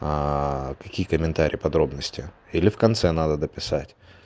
а какие комментарии подробности или в конце надо дописать